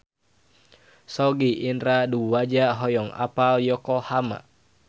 Sogi Indra Duaja hoyong apal Yokohama